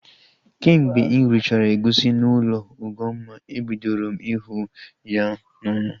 Kemgbe m richara egusi n'ụlọ Ugomma, ebidoro m ihu ya n'anya